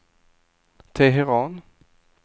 Teheran